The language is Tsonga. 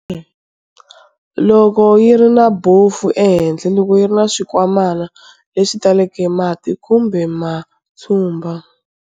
Loko yi ri na bofu ehenhla, loko yi ri na swinkwamana leswi taleke mati kumbe matshumba.